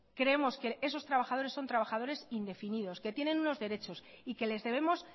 creemos que esos trabajadores son trabajadores indefinidos que tienen unos derechos y que les debemos